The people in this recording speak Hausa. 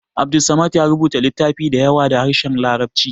Abdulsamad ya rubuta littafai da yawa da harshen larabci